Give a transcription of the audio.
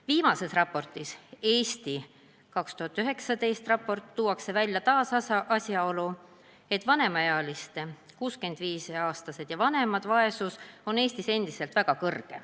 Viimases raportis, Eesti 2019. aasta raportis tuuakse taas välja asjaolu, et vanemaealiste – 65-aastased ja vanemad – vaesus on Eestis endiselt väga suur.